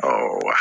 wa